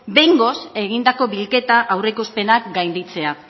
behingoz egindako bilketa aurreikuspenak gainditzea